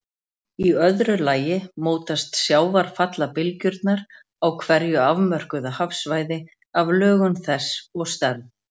Í öðru lagi mótast sjávarfallabylgjurnar á hverju afmörkuðu hafsvæði af lögun þess og stærð.